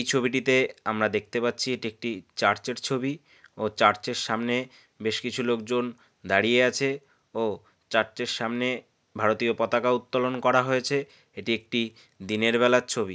ছবিটিতে আমরা দেখতে পাচ্ছি এটি একটি চার্চের ছবি। ও চার্চের সামনে বেশ কিছু লোকজন দাঁড়িয়ে আছে ও চার্চের সামনে ভারতীয় পতাকা উত্তোলন করা হয়েছে । এটি একটি দিনের বেলার ছবি।